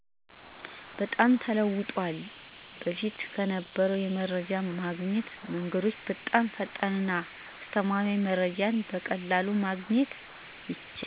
በጣም ተለውጧል። በፊት ከነበረው የመረጃ ማግኛ መንገዶች በጣም ፈጣንና አስተማማኝ መረጃወችን በቀላሉ ማግኘት ይቻላል።